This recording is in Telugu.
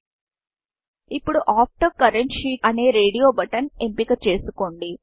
ఇప్పుడు ఆఫ్టర్ కరెంట్ sheetఆఫ్టర్ కరెంట్ షీట్ అనే రేడియో buttonరేడియో బటన్ ఎంపిక చేసుకోండి